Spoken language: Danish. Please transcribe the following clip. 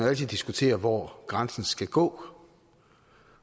altid diskutere hvor grænsen skal gå